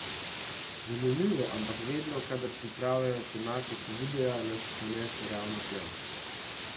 Zanimivo, ampak vedno, kadar pripravljamo tematiko videa, nas ponese ravno tja!